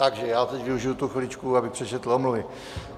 Takže já teď využiji tu chviličku, abych přečetl omluvy.